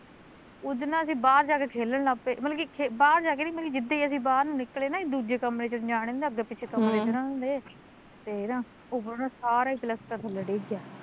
ਉਦਣ ਨਾ ਅਸੀਂ ਬਾਹਰ ਜਾਂ ਕੇ ਖੇਲਣ ਲੱਗਗੇ ਮਤਲਬ ਕੀ ਬਾਹਰ ਜਾਂ ਕੇ ਨੀ ਜਿਦਾਂ ਈ ਅਸੀਂ ਬਾਹਰ ਨੂੰ ਨਿਕਲੇ ਨਾ ਦੂਜੇ ਕਮਰੇ ਚ ਜਾਣੇ ਨੂੰ ਅੱਗੇ ਪਿੱਛੇ ਕਮਰੇ ਤੇ ਉਹਨਾਂ ਦੇ ਹਮ ਤੇ ਨਾ ਉਹ ਨਾ ਸਾਰਾ ਈ ਪਲੱਸਤਰ ਥੱਲੇ ਡਿੱਗ ਗਿਆ